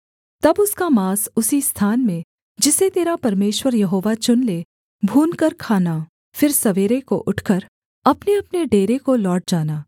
तब उसका माँस उसी स्थान में जिसे तेरा परमेश्वर यहोवा चुन ले भूनकर खाना फिर सवेरे को उठकर अपनेअपने डेरे को लौट जाना